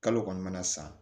Kalo kɔni mana san